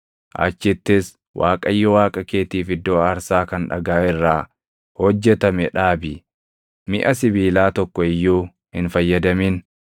Achittis Waaqayyo Waaqa keetiif iddoo aarsaa kan dhagaa irraa hojjetame dhaabi; miʼa sibiilaa tokko iyyuu hin fayyadamin.